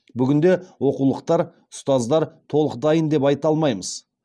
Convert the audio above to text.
бүгінде оқулықтар ұстаздар толық дайын деп айта алмаймыз